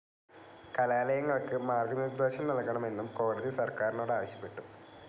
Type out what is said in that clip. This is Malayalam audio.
കലാലയങ്ങൾക്ക് മാർഗ്ഗനിർദ്ദേശം നൽകണമെന്നും കോടതി സർക്കാരിനോട് ആവശ്യപ്പെട്ടു.